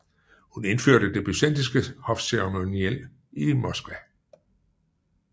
Hun indførte det byzantinske hofceremoniel i Moskva